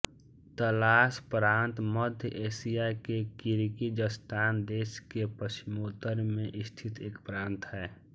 तलास प्रांत मध्य एशिया के किर्गिज़स्तान देश के पश्चिमोत्तर में स्थित एक प्रांत है